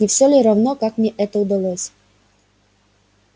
не все ли равно как мне это удалось